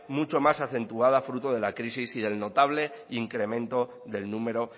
mucho más acentuada fruto de la crisis y del notable incremento del número